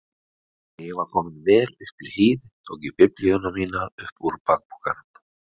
Þegar ég var kominn vel upp í hlíð tók ég biblíuna mína upp úr bakpokanum.